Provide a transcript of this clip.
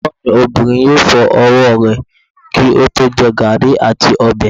Egbon mi Obinrin yoo fo ọwọ rẹ ki o to jẹ garri ati ọbẹ